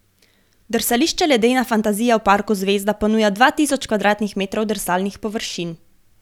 Drsališče Ledena fantazija v parku Zvezda ponuja dva tisoč kvadratnih metrov drsalnih površin.